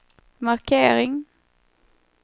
markering